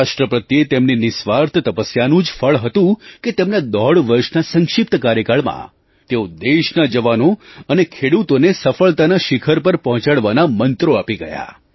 રાષ્ટ્ર પ્રત્યે તેમની નિસ્વાર્થ તપસ્યાનું જ ફળ હતું કે તેમના દોઢ વર્ષના સંક્ષિપ્ત કાર્યકાળમાં તેઓ દેશના જવાનો અને ખેડૂતોને સફળતાના શિખર પર પહોંચાડવાના મંત્રો આપી ગયા